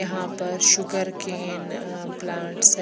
यहा पर sugarcane uh plants है।